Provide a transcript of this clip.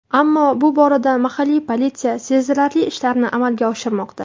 Ammo bu borada mahalliy politsiya sezilarli ishlarni amalga oshirmoqda.